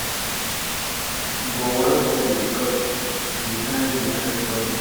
go wan send becos di kain di kain projects